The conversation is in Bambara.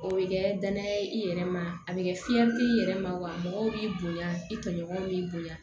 O bɛ kɛ danaya ye i yɛrɛ ma a bɛ kɛ fiyɛli kɛ i yɛrɛ ma wa mɔgɔw b'i bonya i tɔɲɔgɔnw b'i bonya